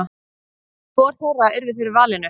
Hvor þeirra yrði fyrir valinu?